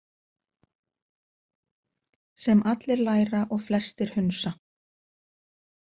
Sem allir læra og flestir hunsa.